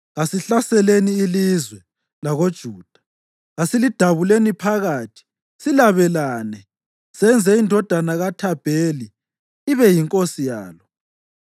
“Kasihlaseleni ilizwe lakoJuda; kasilidabuleni phakathi silabelane, senze indodana kaThabheli ibe yinkosi yalo.”